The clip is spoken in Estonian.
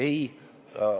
Ei!